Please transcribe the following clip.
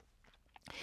DR2